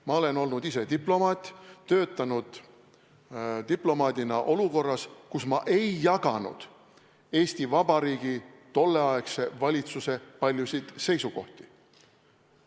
Ma olen olnud ise diplomaat, töötanud diplomaadina olukorras, kus ma ei jaganud Eesti Vabariigi tolleaegse valitsuse paljusid seisukohti.